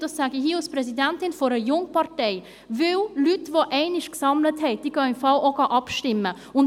– Dies sage ich hier als Präsidentin einer Jungpartei: Weil Leute, die einmal gesammelt haben, im Fall auch abstimmen gehen.